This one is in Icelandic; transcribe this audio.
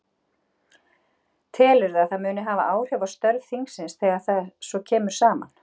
Telurðu að það muni hafa áhrif á störf þingsins þegar það svo kemur saman?